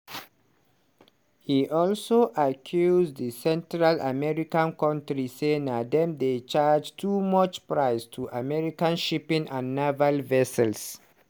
e also accuse di central american kontri say dem dey charge "too much price" to american shipping and naval vessels.